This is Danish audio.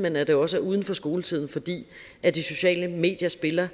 men at det også er uden for skoletiden fordi de sociale medier spiller